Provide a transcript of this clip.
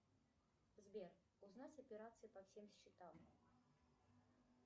сбер узнать операции по всем счетам